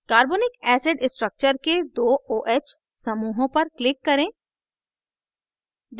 carbonic acid structure के दो oh समूहों पर click करें